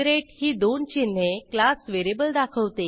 ही दोन चिन्हे class variable दाखवते